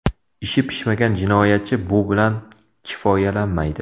Ishi pishmagan jinoyatchi bu bilan kifoyalanmaydi.